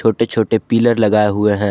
छोटे छोटे पिलर लगाए हुए हैं।